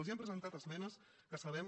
els hem presentat esmenes que sabem